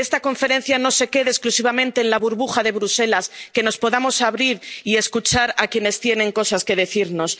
civil que esta conferencia no se quede exclusivamente en la burbuja de Bruselas, que nos podamos abrir y escuchar a quienes tienen cosas